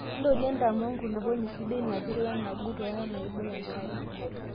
intorie intamoo enkulupuoni sidai, napir, wenagut ooo wenaibok enkare